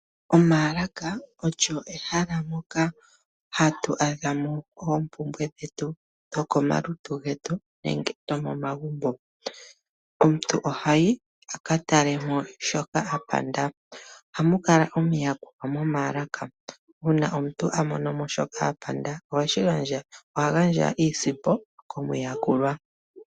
Omaalaka olyo ehala moka hatu adha mo oompumbwe dhetu dhokomalutu getu nenge dhomomagumbo. Omuntu ohayi aka tale mo shoka a panda, ohamu kala omuyakuli momaalaka uuna omuntu a mono mo shoka a panda oha gandja iisimpo komuyakuli.